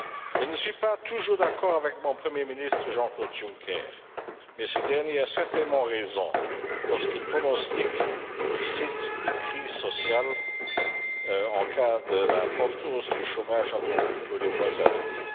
Je ne suis pas toujours d'accord avec mon Premier ministre, Jean Claude Juncker, mais ce dernier a certainement raison lorsqu'il pronostique, je cite, une crise sociale en cas de forte hausse du chômage attendue pour les mois à venir.